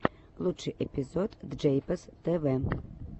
лучший эпизод джейпос тв